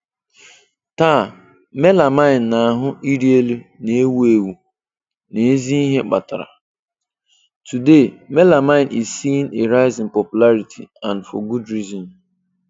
Taa, melamine na-ahu iri elu na ewu ewu, na ezi ihe kpatara.\n\nToday, melamine is seeing a rise in popularity, and for good reason.